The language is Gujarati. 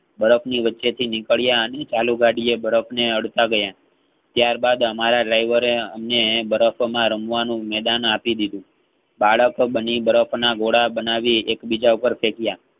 બરફ નીવચ્ચે થી નીકળ્યા અને ચાલુ ગાડીયે બરફને અડતા ગયા. ત્યાર બાદ અમારા driver એ અમને બરફ માં અમને રામ વાનું મેદાન આપીદીધું. બાળકો બની બરફ ના ગોળા બનાવી એક બીજા ઉપર ફેંક્યા.